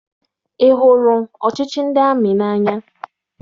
Ị hụrụ ọchịchị ndị amị n'anya?